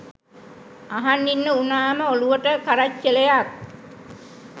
අහන් ඉන්න උනාම ඔලුවට කරච්චලයක්.